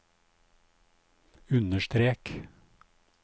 understrek